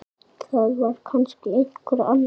Það er kannski einhver annar.